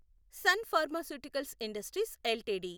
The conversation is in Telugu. sun pharmaceuticals industries LTD